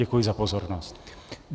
Děkuji za pozornost.